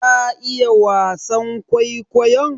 Ta iya wasan kwaikwayon?